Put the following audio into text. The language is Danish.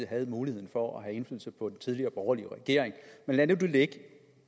havde muligheden for at have indflydelse på den tidligere borgerlige regering men lad nu det ligge